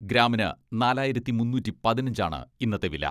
ഗ്രാമിന് നാലായിരത്തി മുന്നൂറ്റി പതിനഞ്ച് ആണ് ഇന്നത്തെ വില.